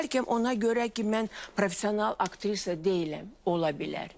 Bəlkə ona görə ki, mən professional aktrisa deyiləm, ola bilər.